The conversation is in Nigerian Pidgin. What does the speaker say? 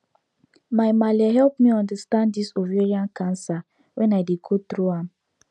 my malle help me understand this ovarian cancer when i dey go through am